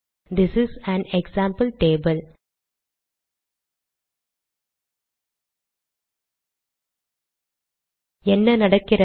this is an example table என்ன நடக்கிறது